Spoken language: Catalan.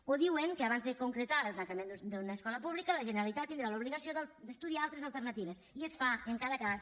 o diuen que abans de concretar el tancament d’una escola pública la generalitat tindrà l’obligació d’estudiar altres alternatives i es fa en cada cas